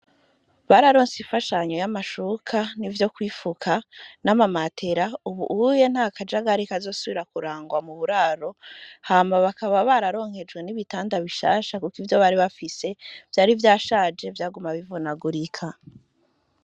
Bararonse imfashanyo, y'amashuka, ivyo kwifuka, n'amamatera; ubuye, nta kajagari, kazosubira kurangwa mu buraro; hama bakaba bararonkejwe, n'ibitanda bishasha, kuko ivyo bari bafise, vyari vyashaje, vyaguma bivunagurika.